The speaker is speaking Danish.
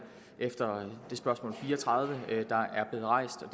efter at spørgsmål fire og tredive